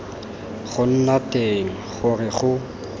go nna teng gore go